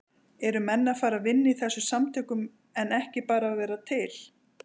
Eru menn að fara að vinna í þessum samtökum en ekki bara vera til?